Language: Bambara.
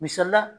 Misali la